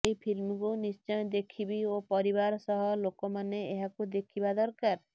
ଏହି ଫିଲ୍ମକୁ ନିଶ୍ଚୟ ଦେଖିବି ଓ ପରିବାର ସହ ଲୋକମାନେ ଏହାକୁ ଦେଖିବା ଦରକାର